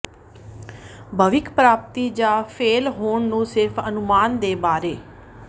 ਭਵਿੱਖ ਪ੍ਰਾਪਤੀ ਜ ਫੇਲ੍ਹ ਹੋਣ ਨੂੰ ਸਿਰਫ ਅਨੁਮਾਨ ਦੇ ਬਾਰੇ